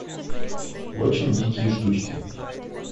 очень дикие штучки